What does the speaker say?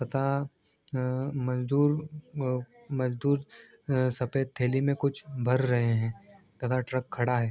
तथा मजदूर मजदूर सफ़ेद थैली में कुछ भर रहे हैं तथा ट्रक खड़ा है।